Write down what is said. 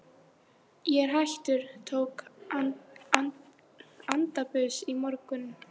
Ég er hættur, tók antabus í morgun.